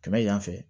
Kɛmɛ yan fɛ